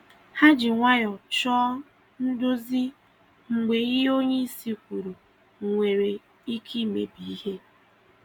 Ha ji nwayọọ chọọ nduzi mgbe ihe onyeisi kwuru nwere ike imebi ihe.